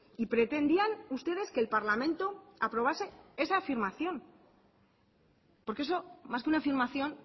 y pretendían ustedes que el parlamento aprobase esa afirmación porque eso más que una afirmación